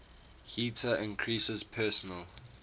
heater increases personal